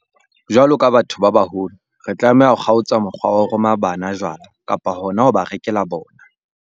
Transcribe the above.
Jwalo ka batho ba baholo, re tlameha ho kgaotsa mokgwa wa ho roma bana jwala, kapa hona ho ba rekela bona.